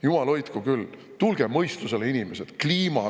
Jumal hoidku küll, tulge mõistusele, inimesed!